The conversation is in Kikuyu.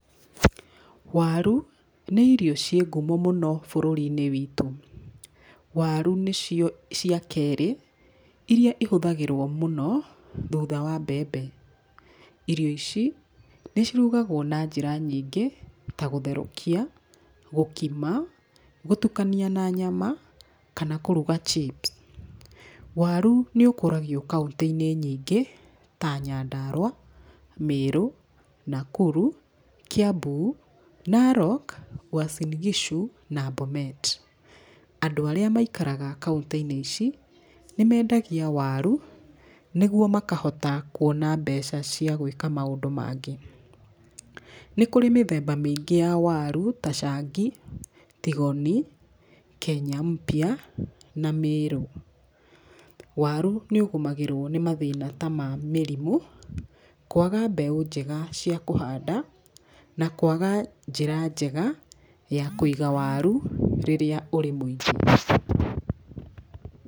Waru nĩ irio ciĩ ngumo mũno bũrũri-inĩ witũ. Waru nĩcio cia kerĩ iria ihũthagĩrwo mũno thutha wa mbembe. Irio ici nĩcirugagwo na njĩra nyingĩ ta gũtherũkia, gũkima, gũtukania na nyama kana kũruga chips waru nĩ ũkũragio kauntĩ-inĩ nyingĩ ta Nyandarũa, Mĩrũ, Nakuru, Kiambu , Narok , Uasin-Gishu na Bomet. Andũ arĩa maikaraga kauntĩ-inĩ ici nĩmendagia waru nĩguo makahota kũona mbeca cia gũĩka maũndũ mangĩ , nĩ kũrĩ mĩthemba mĩingĩ ya waru ta cangi, tigoni, kenya-mpya na mĩrũ. Waru nĩũgũmagĩrwo nĩ mathĩna ta ma mĩrimũ, kũaga mbeũ njega cia kũhanda na kũaga njĩra njega ya kũiga waru rĩrĩa ũrĩ mũingĩ.